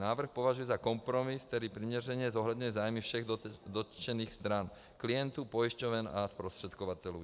Návrh považuji za kompromis, který přiměřeně zohledňuje zájmy všech dotčených stran - klientů, pojišťoven a zprostředkovatelů.